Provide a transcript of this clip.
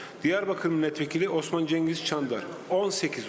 Diyarbəkir millət vəkili Osman Cengiz Çandar, 18 səs.